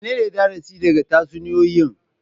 Menene darasi daga tatsuniyoyi?